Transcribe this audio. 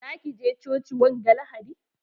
Za ki je coci wanga lahadi?